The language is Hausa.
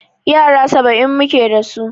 Yara saba'in muke dasu.